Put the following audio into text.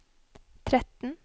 tretten